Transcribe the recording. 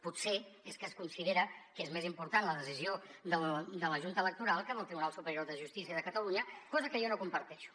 potser és que es considera que és més important la decisió de la junta electoral que del tribunal superior de justícia de catalunya cosa que jo no comparteixo